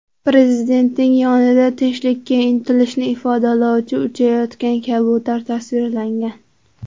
Prezidentning yonida tinchlikka intilishni ifodalovchi uchayotgan kabutar tasvirlangan.